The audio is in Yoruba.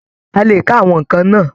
A lè kà àwọn nnkan náà.